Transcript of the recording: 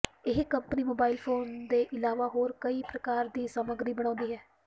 ਇਹ company mobile phone ਦੇ ਇਲਾਵਾ ਹੋਰ ਕਈ ਪ੍ਰਕਾਰ ਦੀ ਸਮੱਗਰੀ ਬਣਾਉਂਦੀ ਹੈ